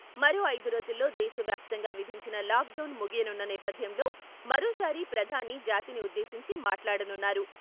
మరో ఐదు రోజుల్లో దేశ వ్యాప్తంగా విధించిన లాక్ డౌన్ ముగియనున్న నేపథ్యంలో మరోసారి ప్రధాని జాతిని ఉద్దేశించి మాట్లాడనున్నారు.